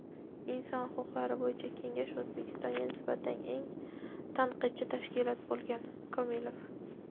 Inson huquqlari bo‘yicha kengash O‘zbekistonga nisbatan eng tanqidchi tashkilot bo‘lgan – Komilov.